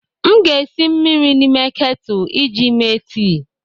M ga-esi mmiri n'ime ketu iji mee tii.